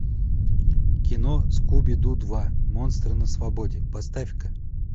кино скуби ду два монстры на свободе поставь ка